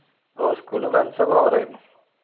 ഓഹ് സ്കൂളിലൊക്കെ friends